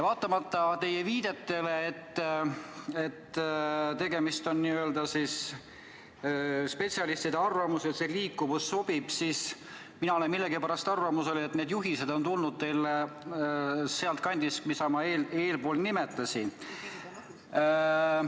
Vaatamata teie viidetele, et tegemist on spetsialistide arvamusega, et "liikuvus" sobib, olen mina millegipärast arvamusel, et need juhised on teile tulnud sealt kandist, mida ma nimetasin.